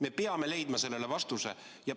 Me peame leidma sellele vastuse.